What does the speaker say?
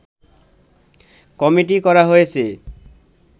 committee করা হয়েছে